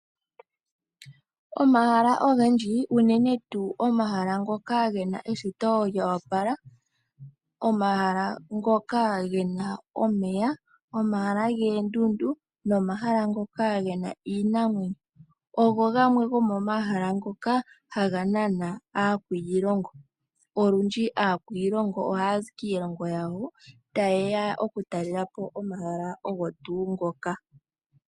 Omahala ogendji unene tuu ngoka ge na eshito lyo opala, omahala ge na omeya, omahala goondundu nomahala ngoka ge na iinamwenyo ogo gamwe gomomahala ngoka haga nana aakwiilongo. Olundji aakwiilongo ohaya zi kiilongo yawo taye ya okutalela po omahala ogo tuu ngoka.